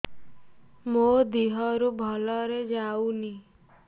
ମୋ ଦିହରୁ ଭଲରେ ଯାଉନି